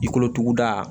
I kolotuguda